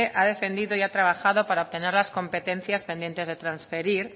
ha defendido y ha trabajado para obtener las competencias pendientes de transferir